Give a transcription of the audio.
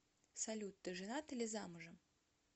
салют ты женат или замужем